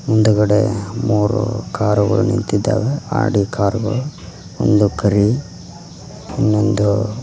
ಮುಂದ್ಗಡೆ ಮೂರು ಕಾರುಗಳು ನಿಂತಿದ್ದಾವೆ ಆಡಿ ಕಾರ್ ಗಳು ಒಂದು ಕರಿ ಇನ್ನೊಂದು--